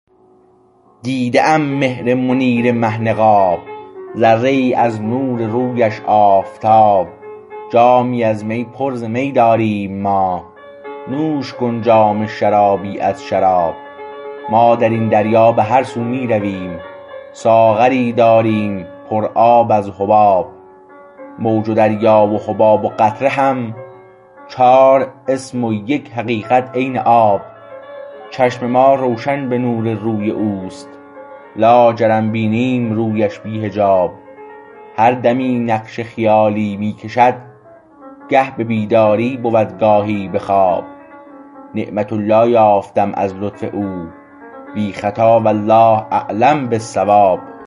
دیده ام مهر منیر مه نقاب ذره ای از نور رویش آفتاب جامی از می پر ز می داریم ما نوش کن جام شرابی از شراب ما در این دریا به هر سو می رویم ساغری داریم پر آب از حباب موج و دریا و حباب و قطره هم چار اسم و یک حقیقت عین آب چشم ما روشن به نور روی اوست لاجرم بینیم رویش بی حجاب هر دمی نقش خیالی می کشد گه به بیداری بود گاهی به خواب نعمت الله یافتم از لطف او بی خطا والله اعلم بالصواب